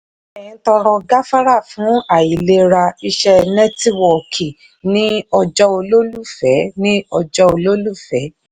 mtn tọrọ gafara fún àìlera iṣẹ́ nẹ́tíwọ́ọ̀kì ní ọjọ́ olólùfẹ́. ọjọ́ olólùfẹ́.